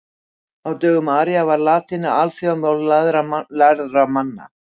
Á dögum Ara var latína alþjóðamál lærðra manna.